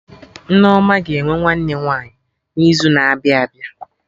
Nneoma ga-enwe nwanne nwaanyị n'izu na-abịa abịa